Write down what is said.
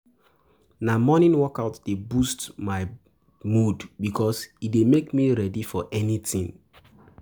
Na morning workout dey boost my mood bikos e dey make me ready for anything.